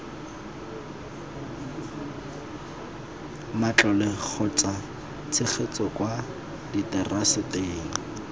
matlole kgotsa tshegetso kwa diteraseteng